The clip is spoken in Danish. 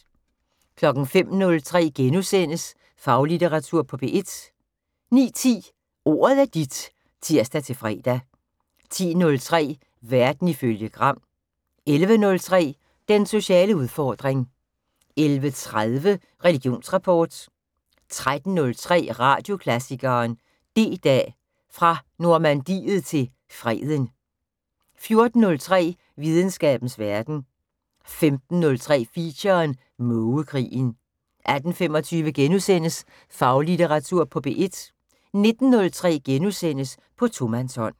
05:03: Faglitteratur på P1 * 09:10: Ordet er dit (tir-fre) 10:03: Verden ifølge Gram 11:03: Den sociale udfordring 11:30: Religionsrapport 13:03: Radioklassikeren: D-Dag, fra Normandiet til Freden 14:03: Videnskabens Verden 15:03: Feature: Mågekrigen 18:25: Faglitteratur på P1 * 19:03: På tomandshånd *